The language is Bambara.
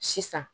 Sisan